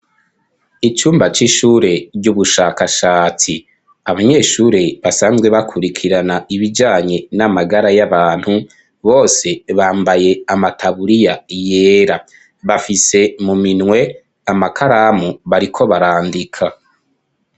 Icumba c'ishure ry'ubushakashatsi abanyeshure basanzwe bakurikirana ibijanye n'amagara y'abantu bose bambaye amataburiya yera bafise mu minwe amakaramu bariko barandika.